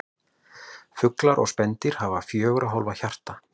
Fuglar og spendýr hafa fjögurra hólfa hjarta.